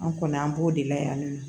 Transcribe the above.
An kɔni an b'o de layɛ